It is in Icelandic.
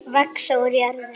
Vaxa úr jörðu.